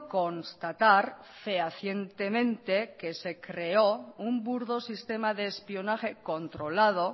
constatar fehacientemente que se creó un burdo sistema de espionaje controlado